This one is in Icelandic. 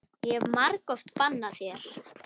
Ég hef margoft bannað þér.